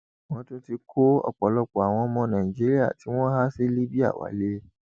wọn ti tún kó ọpọlọpọ àwọn ọmọ nàìjíríà tí wọn há sí libya wálé